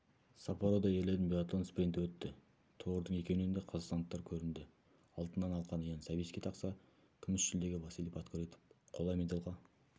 саппорода ерлердің биатлон спринті өтті тұғырдың екеуінен де қазақстандықтар көрінді алтыннан алқаны ян савицкий тақса күміс жүлдеге василий подкорытов қола медальға